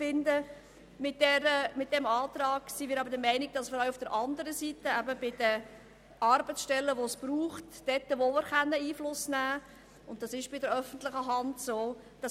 Mit diesem Antrag wollen wir der Meinung Ausdruck verleihen, dass auch auf der anderen Seite, nämlich bei den benötigten Arbeitsstellen, Einfluss genommen werden kann, was bei der öffentlichen Hand der Fall ist.